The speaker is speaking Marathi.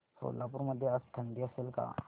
सोलापूर मध्ये आज थंडी असेल का